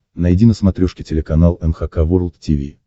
найди на смотрешке телеканал эн эйч кей волд ти ви